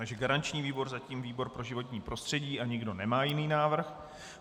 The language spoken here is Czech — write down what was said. Takže garanční výbor zatím výbor pro životní prostředí a nikdo nemá jiný návrh.